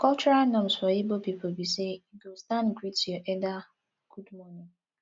cultural norms for igbo pipo bi say yu go stand greet yur elder good morning